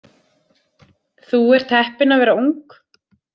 Þú ert heppin að vera ung.